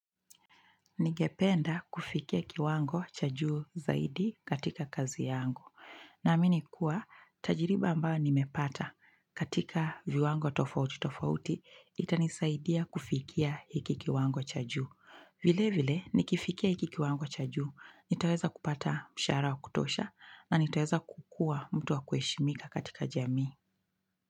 Ningependa kufikia kiwango cha juu zaidi katika kazi yangu. Naamini kuwa, tajiriba ambayo nimepata katika viwango tofauti tofauti, itanisaidia kufikia hiki kiwango cha juu. Vile vile, nikifikia hiki kiwango cha juu, nitaweza kupata mshahara wa kutosha, na nitaweza kukua mtu wa kuheshimika katika jamii.